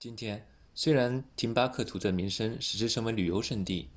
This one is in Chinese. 今天虽然廷巴克图的名声使之成为旅游胜地